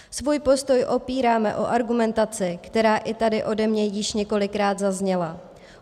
Svůj postoj opíráme o argumentaci, která i tady ode mě již několikrát zazněla.